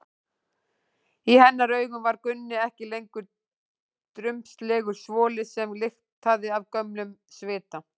Í hennar augum var Gunni ekki lengur drumbslegur svoli sem lyktaði af gömlum svita.